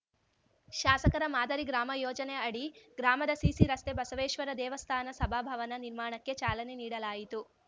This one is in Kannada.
ಶಾಸಕರ ಮಾದರಿ ಗ್ರಾಮ ಯೋಜನೆ ಅಡಿ ಗ್ರಾಮದ ಸಿಸಿ ರಸ್ತೆ ಬಸವೇಶ್ವರ ದೇವಸ್ಥಾನ ಸಭಾ ಭವನ ನಿರ್ಮಾಣಕ್ಕೆ ಚಾಲನೆ ನೀಡಲಾಯಿತು